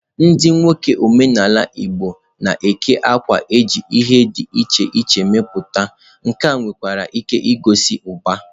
Ndi nwoke omenala igbo na-eke àkwà eji ihe di iche iche meputa nke nwekwara ike igosi uba.